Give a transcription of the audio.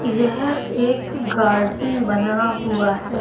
यह एक गार्डन बना हुआ है।